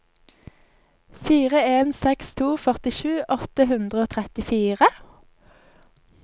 fire en seks to førtisju åtte hundre og trettifire